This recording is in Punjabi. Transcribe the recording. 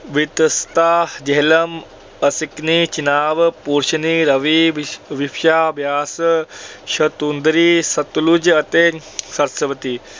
ਵਿਤਸਤਾ ਜੇਹਲਮ, ਅਸਿਕਨੀ ਚਿਨਾਬ, ਪੁਰੁਸ਼ਨੀ ਰਾਵੀ, ਵਿਪਾਸ਼ਾ ਬਿਆਸ, ਸੁਤੁਦਰੀ ਸਤਲੁਜ ਅਤੇ ਸਰਸਵਤੀ।